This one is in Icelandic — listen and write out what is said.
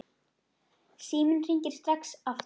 Síminn hringir strax aftur.